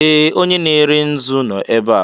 Ee! Onye na-ere nzu nọ ebe a.